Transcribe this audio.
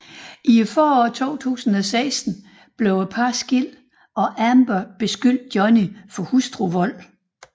I foråret 2016 blev parret skilt og Amber beskyldte Johnny for hustruvold